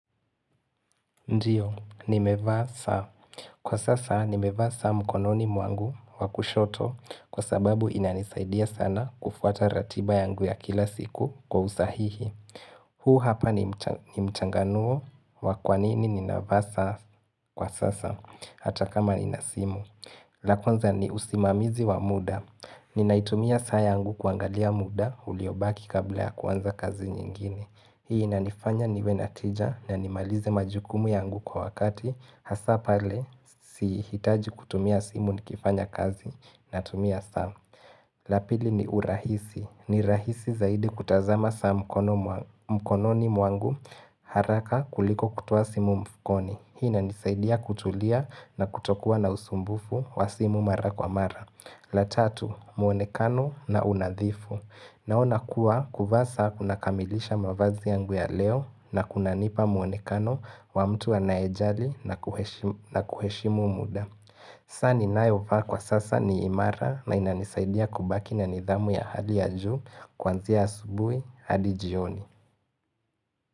Ndio, nimevaa saa. Kwa sasa, nimevaa saa mkononi mwangu wa kushoto kwa sababu inanisaidia sana kufuata ratiba yangu ya kila siku kwa usahihi. Huu hapa ni mchanganuo wa kwanini ninavaa saa kwa sasa, hata kama nina simu. La kwanza ni usimamizi wa muda. Ninaitumia saa yangu kuangalia muda uliobaki kabla ya kwanza kazi nyingine. Hii inanifanya niwe na tija na nimalize majukumu yangu kwa wakati Hasa pale sihitaji kutumia simu nikifanya kazi natumia saa. La pili ni urahisi ni rahisi zaidi kutazama saa mkono mkononi mwangu haraka kuliko kutoa simu mfukoni. Hii inanisaidia kutulia na kutokuwa na usumbufu wa simu mara kwa mara. La tatu, muonekano na unadhifu. Naona kuwa kuvaa saa kuna kamilisha mavazi yangu ya leo na kuna nipa muonekano wa mtu anayejali na kuheshimu muda. Saa ninayo vaa kwa sasa ni imara na inanisaidia kubaki na nidhamu ya hali ya juu kuanzia asubui hadi jioni.